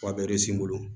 n bolo